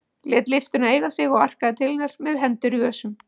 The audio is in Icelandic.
Lét lyftuna eiga sig og arkaði til hennar með hendur í vösum.